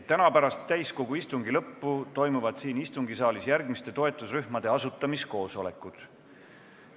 Täna pärast täiskogu istungi lõppu toimuvad siin istungisaalis järgmiste toetusrühmade asutamiskoosolekud.